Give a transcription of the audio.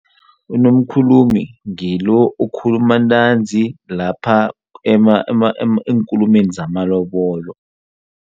UNomkhulumi ngilo okhuluma ntanzi lapha eenkulumeni zamalobolo.